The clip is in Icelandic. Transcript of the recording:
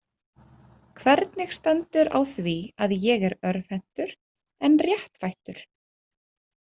Hvernig stendur á því að ég er örvhentur en réttfættur?